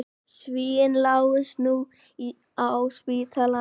Svíinn lá nú á spítalanum.